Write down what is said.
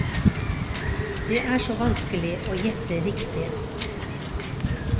Det er så vanskelig å gjette riktig.